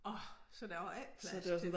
Orh så der var ikke plads til